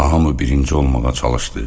Hamı birinci olmağa çalışdı.